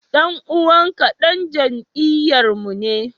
Dan uwanku dan jam'iyyarmu ne?